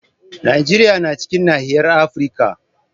Najeriya na cikin nahiyar Afirka.